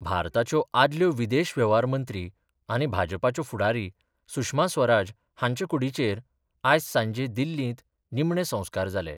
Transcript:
भारताच्यो आदल्यो विदेश व्यव्हार मंत्री आनी भाजपाच्यो फूडारी सुषमा स्वराज हांच्या कुडीचेर आयज सांजे दिल्लींत निमणे संसकार जाले.